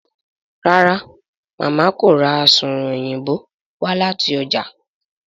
ràrá Mama kò rá Asunrun Òyìnbó wá láti ọjà.